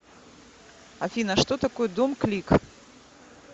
афина что такое домклик